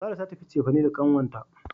Sarah ta tafi cefane da kanwata.